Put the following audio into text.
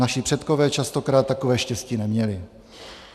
Naši předkové častokrát takové štěstí neměli.